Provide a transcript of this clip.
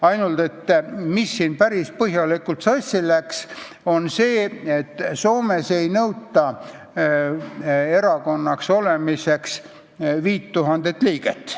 Ainult et päris põhjalikult läks sassi see, et Soomes ei nõuta erakonnalt 5000 liiget.